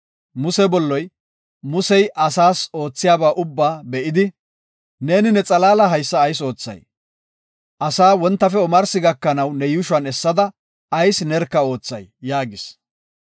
Muse bolloy Musey asaas ootheysa ubbaa be7idi, “Neeni ne xalaala haysa ayis oothay? Asay wontafe omarsi gakanaw ne yuushuwan essada ayis nerka oothay?” yaagis.